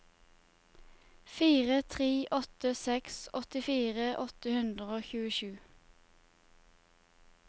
fire tre åtte seks åttifire åtte hundre og tjuesju